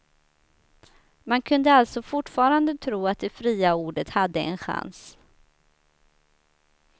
Man kunde alltså fortfarande tro att det fria ordet hade en chans.